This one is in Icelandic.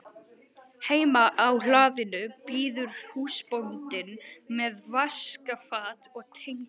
Heima á hlaðinu bíður húsbóndinn með vaskafat og tengur.